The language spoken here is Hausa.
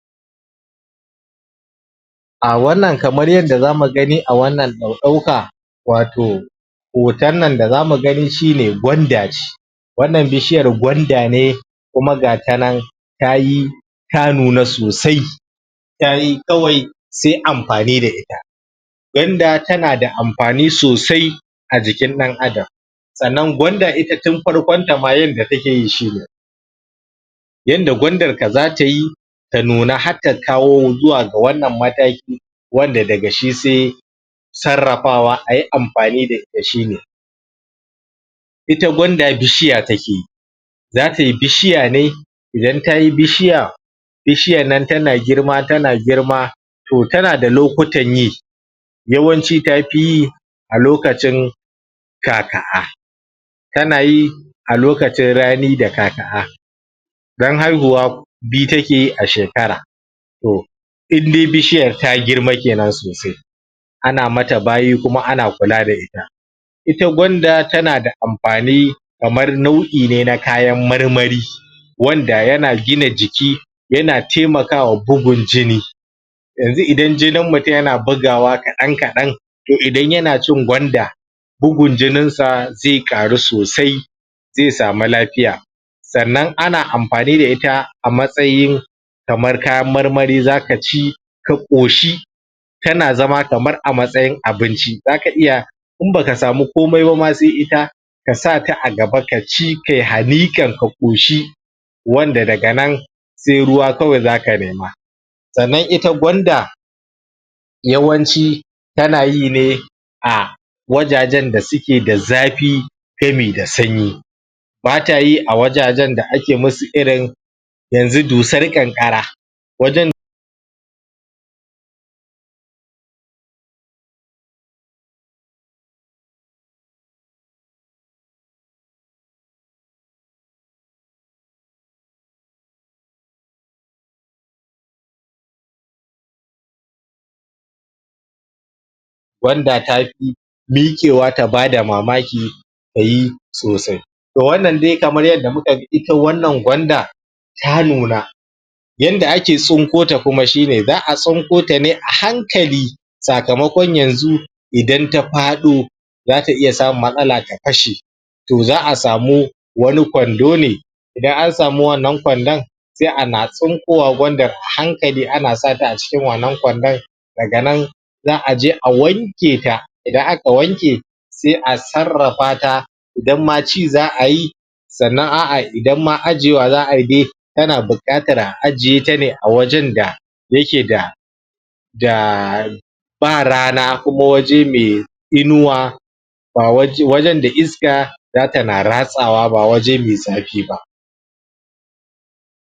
A wannan kamar yadda zamu gani a wannan ɗau ɗauka wato hoton nan da zamugani shine gwanda ce wannan bishiyar gwanda ne kuma ga tanan tayi ta nuna sosai tayi kawai se amfani da ita gwanda tanada amfani sosai ajikin ɗan adam sannan gwanda ita tin farkon tama yanda takeyi shine yanda gwandan ka zatayi ta nuna hatta kawo zuwa ga wannan mataki wanda daga shi se sarrafawa ayi amfani dashine ita gwanda bishiya takeyi zatayi bishiyane idan tayi bishiya bishiyannan tana girma tana girma to tanada lokutan yi yawanci tafi yi a lokacin ka, ka kanayi a lokacin rani da ka, ka dan haihuwa biyu takeyi a shekara to inda bishiyar ta girma sosai ana mata bayi kuma ana kula da ita ita gwanda tanada amfani kamar nau ine na kayan marmari wanda yana gina jiki yana temakawa bugun jini yanzu idan jinin mutun yana bugawa kaɗan kaɗan to idan yanacin gwanda bugun jinin sa ze ƙaru sosai ze sama lafiya sannan ana amfani da ita amatsayin kamar kayan marmari zakaci kaƙoshi tana zama kamar a matsayin abinci inbaka samu komai ba ma se ita kasata agaba kaci kai haniƙan ka ƙoshi wanda daganan se ruwa kawai zaka nema sannan ita gwanda yawanci tanayine a wajajan da suke da zafi sabida sanyi batayi a wajajan da ake musu irin yanzu dusan ƙanƙara wajan gwanda tafi miƙewa tabada mamaki tayi sosai to wannan dai kamar yadda mukaga ita wannan gwanda ta nuna yanda ake tsunkone shine za a tsunko tane ahankali sakamakon yanzu idan tafaɗo zata iya samun matsala ta fashe to za a samu wani kwando ne idan ansamu wannan kwandon se ana tsun kowa gwanda anasata acikin wannan kwandon daganan za aje a wanketa idan aka wanke se a sarrafata idan ma ci za a yi sannan a’a idan ma ajjiyewan za ayi dai tana buƙatan a ajjiyetane a wajan da yakeda da ba rana kuma waje mai inuwa ba waje wajan da iska zatana ratsawa ba waje mai zafiba